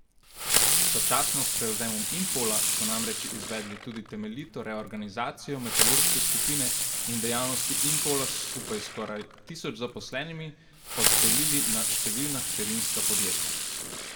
Sočasno s prevzemom Impola so namreč izvedli tudi temeljito reorganizacijo metalurške skupine in dejavnosti Impola skupaj s skoraj tisoč zaposlenimi oddelili na številna hčerinska podjetja.